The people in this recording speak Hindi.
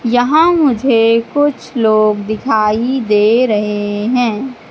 यहां मुझे कुछ लोग दिखाई दे रहे हैं।